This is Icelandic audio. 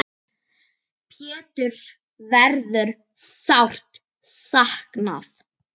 Péturs verður sárt saknað.